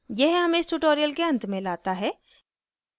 यह हमें इस tutorial के अंत में लाता है